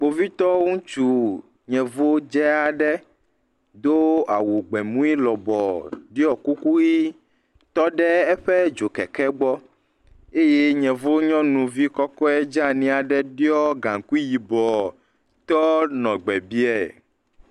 Kpovitɔ ŋutsu yevu dzaa ɖe do awu gbemui lɔbɔɔ ɖɔ kuku ʋɛ̃ tɔ ɖe eƒe dzokeke gbɔ eye yevu nyɔnuvi kɔkɔe dzani aɖe ɖɔ gaŋkui yibɔ tɔ nɔ gbe bie.